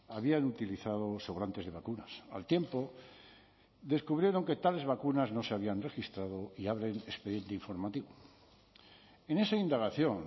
habían utilizado sobrantes de vacunas al tiempo descubrieron que tales vacunas no se habían registrado y abren expediente informativo en esa indagación